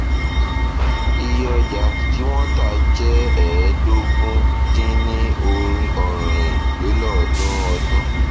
iye ọjà tí wọn tà jẹ ẹẹdógún dín ní ọrin lélọọdúnrún ọdún